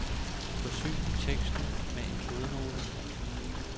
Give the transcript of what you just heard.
Forsyn teksten med en fodnote.